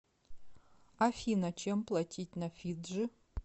афина чем платить на фиджи